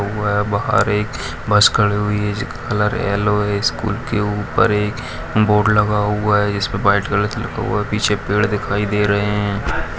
वह है बाहर एक बस खड़ी हुई है जिसका कलर येलो है स्कूल के ऊपर एक बोर्ड लगा हुआ है जिस पे वाइट कलर से लिखा हुआ है पीछे पेड़ दिखाई दे रहे हैं।